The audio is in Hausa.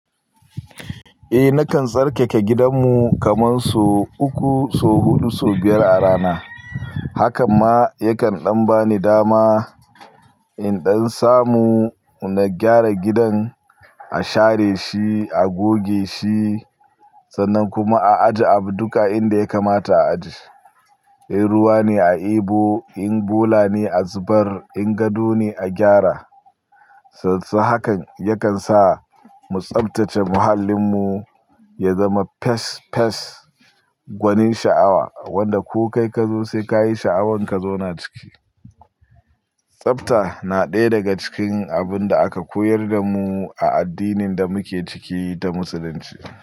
Eh nakan tsarkake gidanmu kaman so uku, so huɗu, so biyar a rana. Hakan ma yakan ɗan bani dama. In dan samu na gyara gidan, a share shi, a goge shi sannan kuma a aje abu duka inda ya kamata a aje. In ruwa ne a ebo, in bola ne a zubar, in gado ne a gyara. S-s-hakan yakan sa mu tsaftace muhallinmu, ya zama fes fes, gwanin sha'awa wanda ko kai ka zo sai ka yi sha'awan ka zauna ciki. Tsabta na ɗaya daga cikin abun da aka koyar da mu a addinin da muke ciki ta musulunci.